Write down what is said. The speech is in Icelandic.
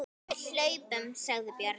Við hlupum, sagði Björn.